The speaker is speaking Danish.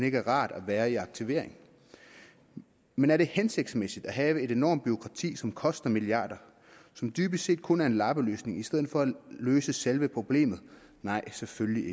ikke er rart at være i aktivering men er det hensigtsmæssigt at have et enormt bureaukrati som koster milliarder og som dybest set kun er en lappeløsning i stedet for at løse selve problemet nej selvfølgelig